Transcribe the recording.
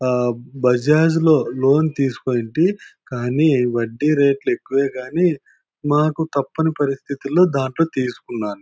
ఆ బజాజ్ లో లోన్ తీసుకుంటే కానీ వడ్డీ రేట్ లు ఎక్కువే గానీ మాకు తప్పని పరిస్థితుల్లో దాంట్లో తీసుకున్నాను.